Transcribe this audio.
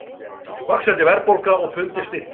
Vaxandi verðbólga og pundið styrkist